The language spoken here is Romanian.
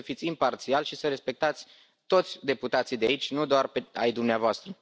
Trebuie să fiți imparțial și să respectați toți deputații de aici, nu doar pe ai dumneavoastră.